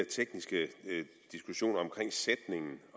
tekniske diskussioner omkring sætningen